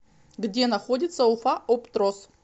где находится уфаоптроз